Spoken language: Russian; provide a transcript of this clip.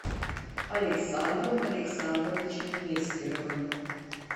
александром александровичем нестеровым